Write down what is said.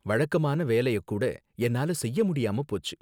வழக்கமான வேலையக் கூட என்னால செய்ய முடியாம போச்சு